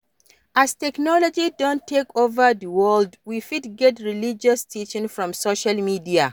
As technology don take over di world, we fit get religious teaching from social media